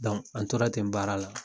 an tora ten baara la